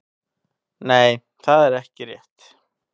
Nei það er ekki rétt.